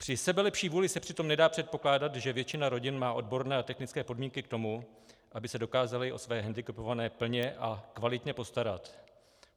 Při sebelepší vůli se přitom nedá předpokládat, že většina rodin má odborné a technické podmínky k tomu, aby se dokázala o své hendikepované plně a kvalitně postarat.